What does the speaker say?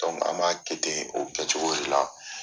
an m'a kɛ ten o kɛ cogo de la.